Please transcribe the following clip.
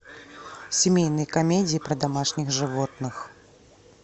семейные комедии про домашних животных